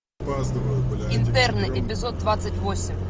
интерны эпизод двадцать восемь